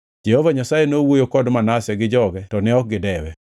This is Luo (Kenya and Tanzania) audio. Jehova Nyasaye nowuoyo kod Manase gi joge to ne ok gidewe.